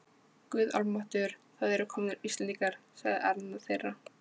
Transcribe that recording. Guð almáttugur, það eru komnir Íslendingar, sagði annar þeirra.